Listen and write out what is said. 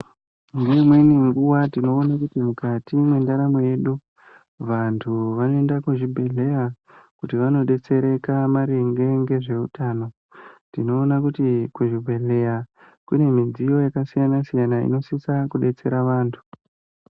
Ngeimweni nguwa tinoone kuti mukati mwendaramo yedu vantu vanoende kuzvibhedhleya kuti vanodetsereka maringe ngezveutano, tinoone kuti kuzvibhedhleya kune midziyo yakasiyana siyana inosisa kudetsera vantu.